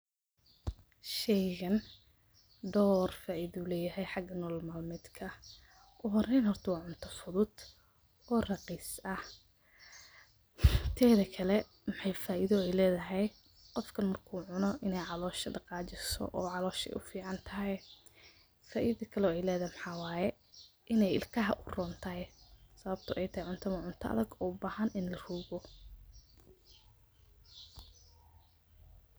Sheeygan door faitha ayu leeyahay, xaga nolol malmetka ah ugu horeyn horta wa cuntA futhut, oo raqis ah tetha Kali maxay faitha u leethahay Qoofka marku cuunoh in callosha daqajesoh oo calolol oo callosha u ficantahay , faitho Kali oo leethahay maxaway inay ilkaha u ronthay sawabta ayatahay cunta wa cunta adega ini larugoh .